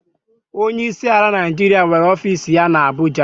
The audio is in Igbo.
Onyeisi ala Naijiria nwere ọfiisi ya na Abụja.